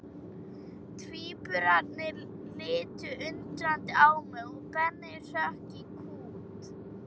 Tvíburarnir litu undrandi á mig og Benni hrökk í kút.